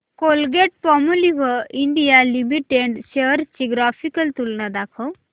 Colgate Palmolive India limited shares ची graphical तुलना दाखव